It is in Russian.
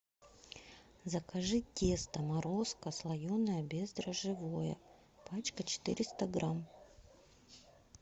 закажи тесто морозко слоеное бездрожжевое пачка четыреста грамм